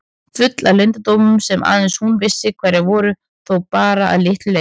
Full af leyndardómum sem aðeins hún vissi hverjir voru þó bara að litlu leyti.